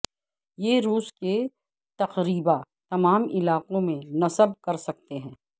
یہ روس کے تقریبا تمام علاقوں میں نصب کر سکتے ہیں